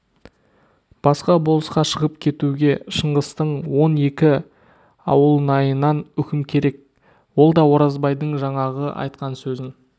басқа болысқа шығып кетуге шыңғыстың он екі ауылнайынан үкім керек ол да оразбайдың жаңағы айтқан сөзін